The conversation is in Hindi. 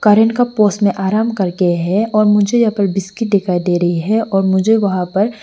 में आराम करके है और मुझे यहां पर बिस्किट दिखाई दे रही है और मुझे वहां पर--